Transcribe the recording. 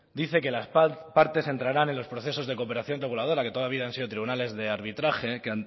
dice que las partes entrarán en los procesos de cooperación reguladora que toda la vida han sido tribunales de arbitraje que